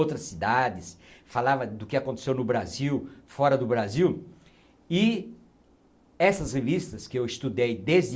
Outras cidades, falava do que aconteceu no Brasil, fora do Brasil, e essas revistas que eu estudei desde